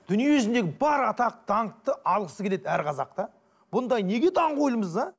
дүниежүзіндегі бар атақ даңқты алғысы келеді әр қазақ та бұндай неге даңғойлымыз а